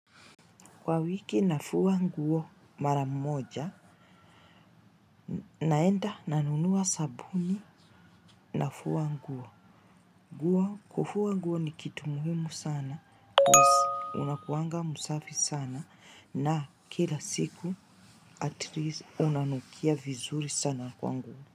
Kwa wiki nafua nguo mara moja naenda nanunua sabuni nafua nguo. Guo kufua nguo ni kitu muhimu sana cause unakuanga msafi sana na kila siku atleast unanukia vizuri sana kwa nguo.